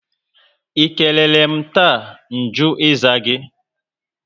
I keleerem taa, nju ịza gị?